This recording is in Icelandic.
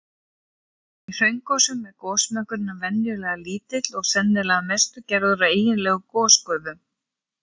Í hraungosum er gosmökkurinn venjulega lítill og sennilega að mestu gerður úr eiginlegum gosgufum.